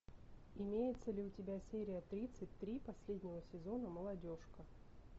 имеется ли у тебя серия тридцать три последнего сезона молодежка